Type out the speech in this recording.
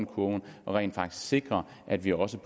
kurven og rent faktisk sikre at vi også